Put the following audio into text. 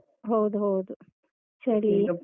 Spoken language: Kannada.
ಹೌದು ಹೌದು ಚಳಿ.